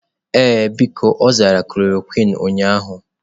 Ee, biko, ọ zara klorokwin ụnyahụ.